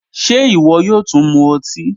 Ṣé iwọ yóò tún mú ọtí?